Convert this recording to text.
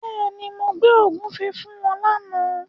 Bẹ́ẹ̀ni, mo gbé ògúnfe fún wọn lána.